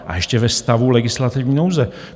A ještě ve stavu legislativní nouze.